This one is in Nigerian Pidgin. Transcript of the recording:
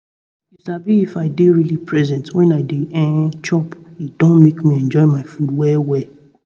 you sabi if i dey really present when i dey um chop e don make me enjoy my food well well